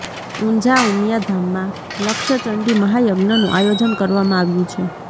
ઊંઝા ઉમિયા ધામમાં લક્ષચંડી મહાયજ્ઞનું આયોજન કરવામાં આવ્યું છે